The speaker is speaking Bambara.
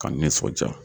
Ka n nisɔndiya